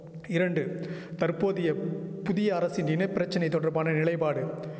இரண்டு தற்போதைய புதிய அரசின் இன பிரச்சனை தொடர்பான நிலைபாடு